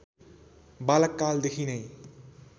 बालककाल देखिनै